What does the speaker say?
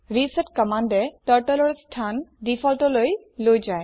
reset কম্মান্দএ Turtleৰ স্হান defaultলৈ লৈ যায়